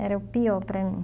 Era o pior para mim.